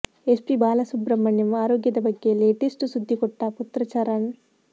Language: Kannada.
ಎಸ್ ಪಿ ಬಾಲಸುಬ್ರಮಣ್ಯಂ ಆರೋಗ್ಯದ ಬಗ್ಗೆ ಲೇಟೆಸ್ಟ್ ಸುದ್ದಿ ಕೊಟ್ಟ ಪುತ್ರ ಚರಣ್